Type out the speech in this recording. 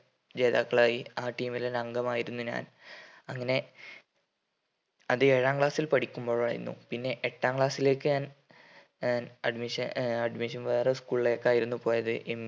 ജേതാക്കളായി ആ team ൽ ഒരംഗം ആയിരുന്നു ഞാൻ അങ്ങനെ അത് ഏഴാം class ൽ പഠിക്കുമ്പോഴായിരുന്നു പിന്നെ എട്ടാം class ലേക്ക് ഞാൻ ആഹ് admission ആഹ് admission വേറെ school ലേക്ക് ആയിരുന്നു പോയത്